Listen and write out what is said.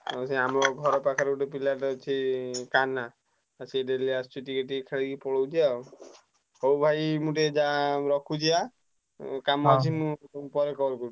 ହଁ ସିଏ ଆମ ଘର ପାଖ ରେ ଗୋଟେ ପିଲାଟେ ଅଛି କାହ୍ନା ସିଏ daily ଆସୁଛି ଖେଳିକି ଟିକେ ପଳଉଛି ଆଉ ହଉ ଭାଇ ମୁଁ ଟିକେ ରଖୁଛି ହାଁ ମୋର ଟିକେ କାମ ଅଛି ମୁଁ ତମକୁ ପରେ call କରୁଛି।